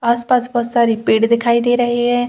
आस-पास बहोत सारी पेड़ दिखाई दे रहे हैं।